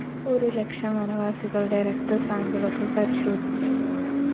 ഒരുലക്ഷം വനവാസികളുടെ രക്തസാമ്പിളുകള്‍ പരിശോധിച്ചു